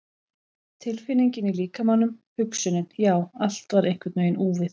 Tilfinningin í líkamanum, hugsunin, já, allt var einhvern veginn úfið.